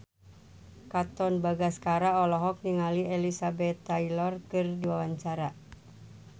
Katon Bagaskara olohok ningali Elizabeth Taylor keur diwawancara